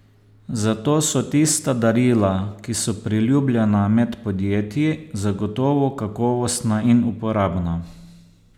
Zato so tista darila, ki so priljubljena med podjetji, zagotovo kakovostna in uporabna.